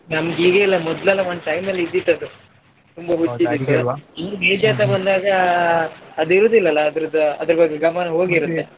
ನಮ್ಗ್ ಈಗ ಇಲ್ಲಾ ಮೊದ್ಲೆಲ್ಲಾ ಒಂದ್ time ಅಲ್ಲಿ ಇದ್ದಿತ್ತು ಅದು ಈಗ age ಆಗ್ತಾ ಬಂದಾಗ ಅದ್ ಇರೂದಿಲ್ಲಲಾ ಅದ್ರದ್ ಅದ್ರ್ ಬಗ್ಗೆ ಗಮನ ಹೋಗಿರುತ್ತೆ.